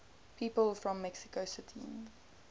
people from mexico city